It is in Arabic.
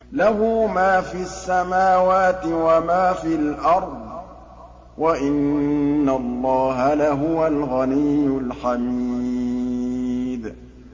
لَّهُ مَا فِي السَّمَاوَاتِ وَمَا فِي الْأَرْضِ ۗ وَإِنَّ اللَّهَ لَهُوَ الْغَنِيُّ الْحَمِيدُ